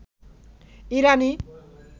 ইরানি